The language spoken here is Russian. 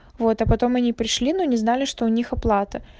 вот а потом они пришли но не знали что у них оплата